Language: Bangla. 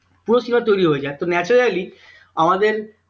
পুরো cinema তৈরি হয়ে যাই তো naturelly আমাদের